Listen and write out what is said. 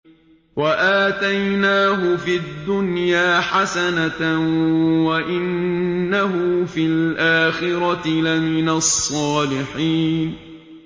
وَآتَيْنَاهُ فِي الدُّنْيَا حَسَنَةً ۖ وَإِنَّهُ فِي الْآخِرَةِ لَمِنَ الصَّالِحِينَ